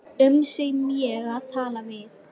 um sem ég er að tala við.